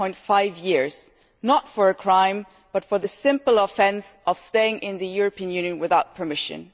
1.5 years, not for a crime but for the simple offence of staying in the European Union without permission.